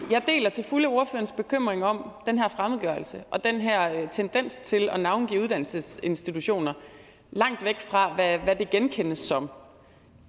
til fulde ordførerens bekymring om den her fremmedgørelse og den her tendens til at navngive uddannelsesinstitutioner langt væk fra hvad de genkendes som